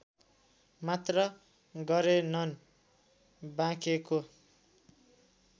मात्र गरेनन् बाँकेको